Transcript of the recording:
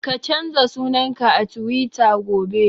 Ka canza sunan ka a Tiwita gobe!